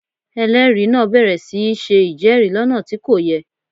Ẹlẹ́rìí náà bẹ̀rẹ̀ sí í ṣe ìjẹ́rìí lọ́nà tí kò yẹ